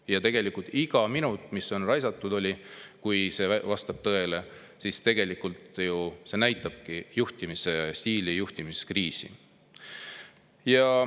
Ja tegelikult iga minut, mis on raisatud – juhul, kui see vastab tõele – tegelikult ju näitabki sellise juhtimisstiili puhul juhtimiskriisi.